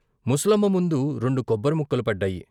ముసలమ్మ ముందు రెండు కొబ్బరి ముక్కలు పడ్డాయి.